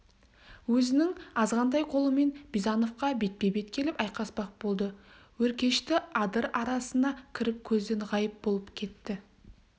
өзінің азғантай қолымен бизановқа бетпе-бет келіп айқаспақ болды өркешті адыр арасына кіріп көзден ғайып болып кетті